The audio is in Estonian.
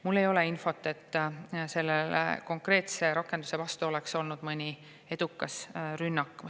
Mul ei ole infot, et selle konkreetse rakenduse vastu oleks olnud mõni edukas rünnak.